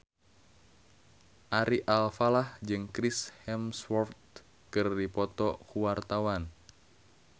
Ari Alfalah jeung Chris Hemsworth keur dipoto ku wartawan